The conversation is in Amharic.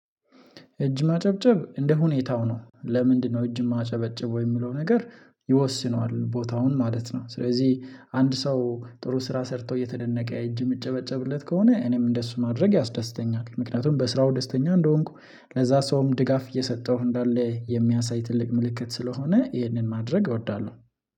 እጅ ማጨብጨብ እንደ ሁኔታው ነው፤ ለምንድነው እጅ ማጨበጭበው የሚለው ነገር ይወስነዋል ቦታውን ማለት ነው ስለዚህ አንድ ሰው ጥሩ ስራ ሰርቶ እየተደነቀ እጅ የምጨበጨብለት ከሆነ እኔም እንደሱ ማድረግ ያስደስተኛል፤ ምክንያቱም በስራው ደስተኛ እንደሆንኩ ለዛ ሰውም ድጋፍ እየሰጠሁ እንዳለ የሚያሳይ ትልቅ ምልክት ስለሆነ ይህንን ማድረግ እወዳለሁ።